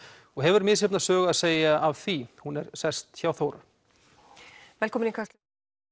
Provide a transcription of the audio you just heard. og hefur misjafna sögu að segja af því hún er sest hjá Þóru velkomin í Kastljós